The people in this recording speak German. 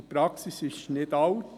Diese Praxis ist nicht alt.